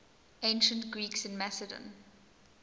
ancient greeks in macedon